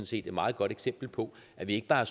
set et meget godt eksempel på at vi ikke bare